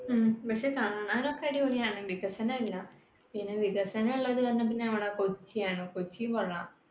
ഉം പക്ഷെ കാണാനൊക്കെ അടിപൊളിയാണ്, വികസനം ഇല്ല. പിന്നെ വികസനം ഉള്ളത് നമ്മുടെ കൊച്ചിയാണ്. കൊച്ചി കൊള്ളാം